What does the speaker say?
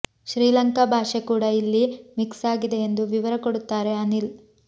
ಶ್ರೀಲಂಕಾ ಭಾಷೆ ಕೂಡ ಇಲ್ಲಿ ಮಿಕ್ಸ್ ಆಗಿದೆ ಎಂದು ವಿವರ ಕೊಡುತ್ತಾರೆ ಅನಿಲ್